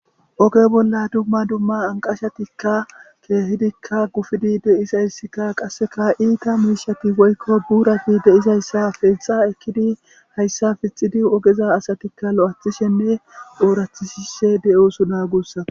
Oge bolla dumma dumma anqashatikka keehidikka gufidi deisayssikka qasseka iita miishati woykko duurati deizayssa pexa ekkidi hayssa fixidi ogeza asatikka lo'athishenne oorathisise de'osu naagussa.